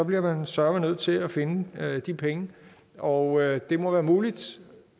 bliver man søreme nødt til at finde de penge og det må være muligt